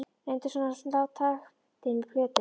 Reyndi svona að slá taktinn með plötum.